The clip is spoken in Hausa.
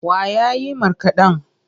Wa ya yi markaɗen?